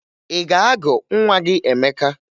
Ị ga-agụ nwa gị Emeka?